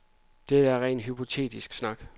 Det er en ren hypotetisk snak.